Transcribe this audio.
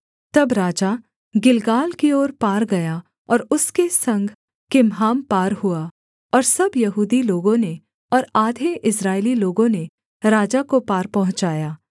तब राजा गिलगाल की ओर पार गया और उसके संग किम्हाम पार हुआ और सब यहूदी लोगों ने और आधे इस्राएली लोगों ने राजा को पार पहुँचाया